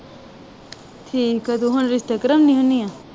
ਠੀਕ ਆ। ਤੂੰ ਹੁਣ ਰਿਸ਼ਤੇ ਕਰਾਉਣੀ ਹੁਨੀ ਆ?